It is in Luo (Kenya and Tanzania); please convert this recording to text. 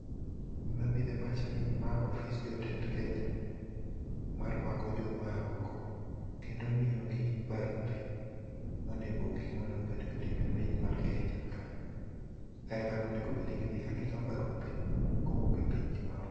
Gima biro e pacha ni ma ofis jotend Kenya. Marwako joma oa oko, kendo miyogi barupe, gikmonego bed ni gitimo e piny mar Kenya ka. Kae e kama onego bed ni gidhiye ka gikawo barupe, kowuok e pinygi maoko.